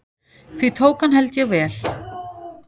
Því tók hann held ég vel.